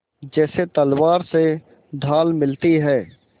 जैसे तलवार से ढाल मिलती है